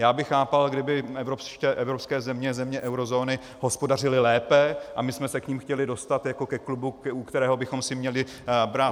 Já bych chápal, kdyby evropské země, země eurozóny hospodařily lépe a my jsme se k nim chtěli dostat jako ke klubu, u kterého bychom si měli brát -